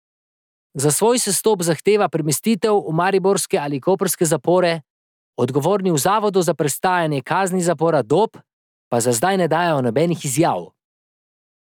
Za svoj sestop zahteva premestitev v mariborske ali koprske zapore, odgovorni v Zavodu za prestajanje kazni zapora Dob pa za zdaj ne dajejo nobenih izjav.